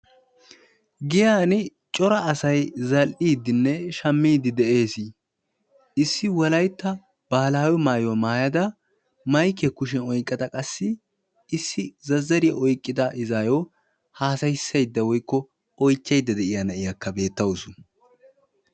giyaani cora asay zal"iiddinn shamiidi de'ees, issi wolaytta baahilaawe maayuwa maaya damaykkiya kushiyan oyqqada qassi issi zazzariya oyqqida izzaayo, haasayisaysdda woykko oychaydda de'iya na'iyaaka beetawusu.